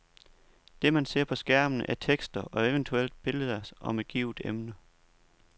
Det, man ser på skærmen, er tekster og eventuelt billeder om et givet emne.